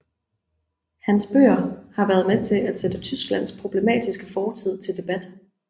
Hans bøger har været med til at sætteTysklands problematiske fortid til debat